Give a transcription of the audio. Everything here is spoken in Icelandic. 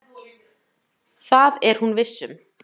Það er hún viss um.